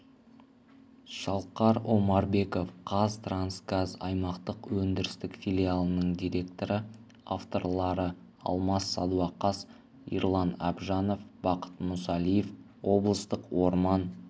шалқар омарбеков қазтрансгаз аймақтық өндірістік филиалының директоры авторлары алмас садуақас ерлан әбжанов бақыт мұсалиев облыстық орман